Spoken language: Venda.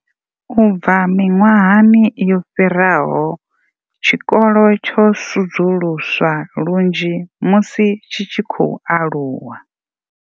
U bva miṅwahani yo fhiraho, tshikolo tsho sudzuluswa lunzhi musi tshi tshi khou aluwa.